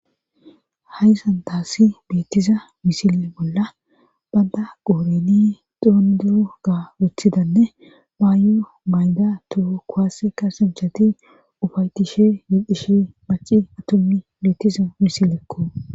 Haysantaassi beettiza misile bolla badda qooreni xoonduo ga wuththidanne baayu mayda toho koaasekka sinchati ufaytishe yedhishe baci atommi beettiza misileekko.